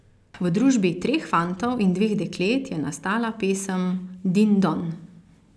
V družbi treh fantov in dveh deklet je nastala pesem Din Don.